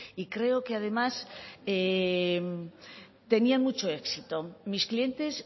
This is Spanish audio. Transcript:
y creo que además tenían mucho éxito mis clientes